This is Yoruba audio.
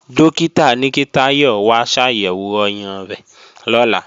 Dókítà ní kí Táyọ̀ wá ṣàyẹ̀wò ọyàn rẹ̀ lọ́la